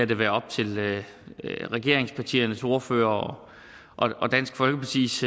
det være op til regeringspartiernes ordførere og dansk folkepartis